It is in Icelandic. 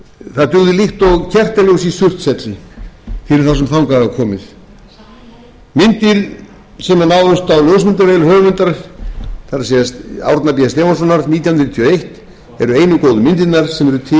það dugði líkt og kertaljós í surtshelli fyrir þá sem þangað hafa komið myndir sem náðust á ljósmyndavél höfundar það er árna b stefánssonar nítján hundruð níutíu og eitt eru einu góðu myndirnar sem eru